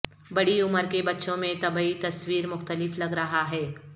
بڑی عمر کے بچوں میں طبی تصویر مختلف لگ رہا ہے